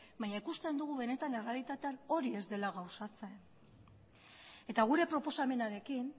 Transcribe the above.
naina ikusten dugu benetan errealitaten hori ez dela gauzatzen eta gure proposamenarekin